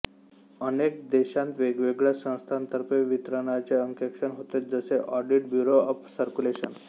अनेक देशातवेगवेगळ्या संस्थांतर्फे वितरणाचे अंकेक्षण होते जसे ऑडिट ब्युरो ऑफ सर्क्युलेशन